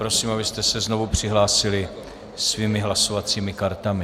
Prosím, abyste se znovu přihlásili svými hlasovacími kartami.